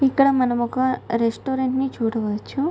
ఇక్కడ మనం ఒక రెస్టురెంట్ ని చూడవచ్చు.